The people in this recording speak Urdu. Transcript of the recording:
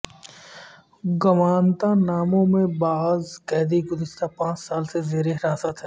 گوانتا نامو میں بعض قیدی گزشتہ پانچ سال سے زیر حراست ہیں